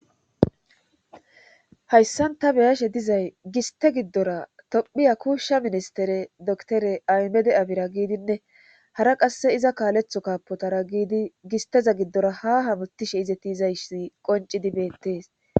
Hayssan ta beyashe dizay giste giddora tophiya kuushsha ministere doktere aymede abira giidinne hara qasse iza kaaletho kaapotara giidi gisteza giddora ha hamutishe izeti izayssi qonci dibettees